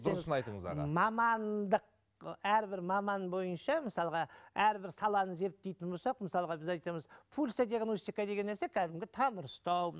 дұрыс айтыңыз аға мамандық әрбір маман бойынша мысалға әрбір саланы зерттейтін болсақ мысалға біз айтамыз пульсодиагностика деген нәрсе кәдімгі тамыр ұстау